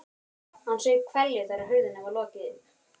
Hann saup hveljur þegar hurðinni var lokið upp.